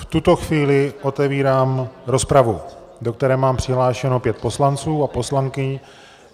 V tuto chvíli otevírám rozpravu, do které mám přihlášeno pět poslanců a poslankyň.